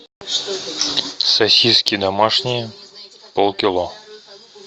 сосиски домашние полкило